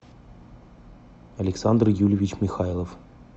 александр юльевич михайлов